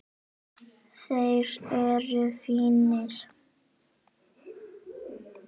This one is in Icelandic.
Þeir eru fínir.